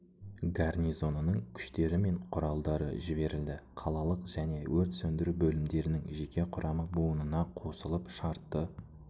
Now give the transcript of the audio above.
гарнизонының күштері мен құралдары жіберілді қалалық және өрт сөндіру бөлімдерінің жеке құрамы буынына қосылып шартты